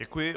Děkuji.